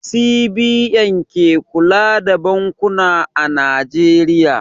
CBN ke kula da bankuna a Najeriya.